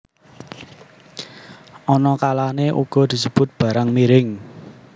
Ana kalané uga disebut barang miring